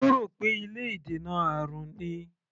Ó rò pé ilé ìdènà àrùn ni.